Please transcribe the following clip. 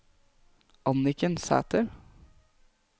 Anniken Sæther